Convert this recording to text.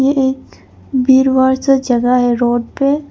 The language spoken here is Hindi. ये एक वीरवार सा जगह है रोड पे।